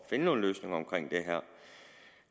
finde nogle løsninger omkring det her